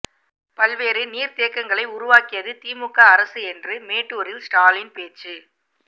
பல்வேறு நீர்தேக்கங்களை உருவாக்கியது திமுக அரசு என்று மேட்டூரில் ஸ்டாலின் பேச்சு